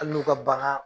Hali n'u ka bagan